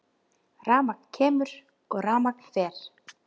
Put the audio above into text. Rafmagn kemur og rafmagn fer.